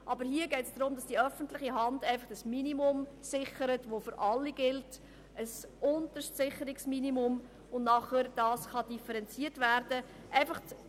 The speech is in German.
Andererseits ist die öffentliche Hand gefordert, ein unterstes Sicherungsminimum zu garantieren, welches für alle gilt und nach oben differenziert werden kann.